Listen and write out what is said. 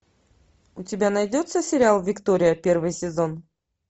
у тебя найдется сериал виктория первый сезон